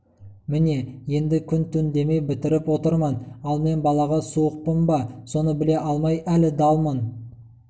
міне енді күн-түн демей бітіріп отырмын ал мен балаға суықпын ба соны біле алмай әлі далмын